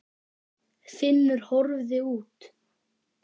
Finnur horfði út.